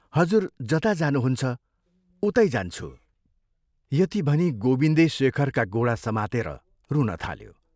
हजुर जता जानुहुन्छ, उतै जान्छु " यति भनी गोविन्दे शेखरका गोडा समातेर रुन थाल्यो।